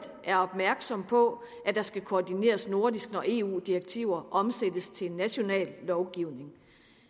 er opmærksom på at der skal koordineres nordisk når eu direktiver omsættes til national lovgivning